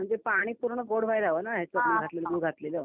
म्हणजे पाणी पूर्ण गॉड व्हायला लावू ना याच्यामध्ये घातलेलं.